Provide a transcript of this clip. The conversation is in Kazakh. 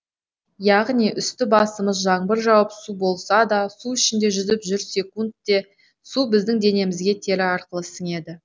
яғни үсті басымыз жаңбыр жауып су болса да су ішінде жүзіп жүрсекунд те су біздің денемізге тері арқылы сіңеді